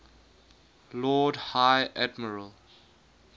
lord high admiral